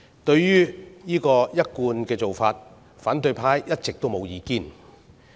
對於這個一貫的做法，反對派一直沒有意見。